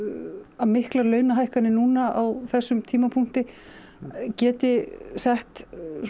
að miklar launahækkanir núna á þessum tímapunkti geti sett